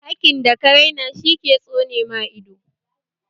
Hakin da ka raina shi zai tsone maka ido